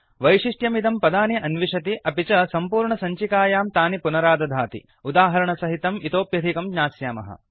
वैशिष्ट्यमिदं पदानि अन्विषति अपि च सम्पूर्णसञ्चिकायां तानि पुनरादधाति उदाहरणसहितं इतोऽप्यधिकं ज्ञास्यामः